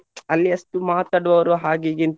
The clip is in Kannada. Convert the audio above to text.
ಅಲ್ಲಿ ಅಷ್ಟು ಮಾತಾಡುವವರು ಹಾಗೆ ಹೀಗೆ ಎಂತ.